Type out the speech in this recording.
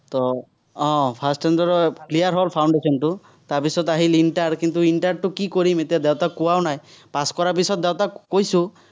আহ first attempt ত clear হ'ল foundation টো, তাৰপিছত আহিল inter, কিন্তু, inter টো কি কৰিম, এতিয়া দেউতাক কোৱাও নাই। pass কৰাৰ পিছত দেউতাক কৈছো।